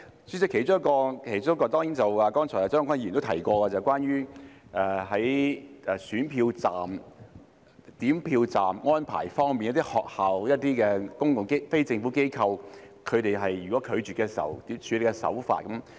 主席，其中一項是張國鈞議員剛才提及，關於投票站及點票站的安排，如果一些學校及非政府機構拒絕提供其處所時，政府的處理手法。